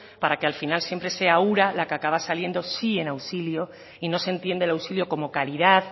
para que al final siempre sea ura la que acaba saliendo sí en auxilio y no se entiende el auxilio como calidad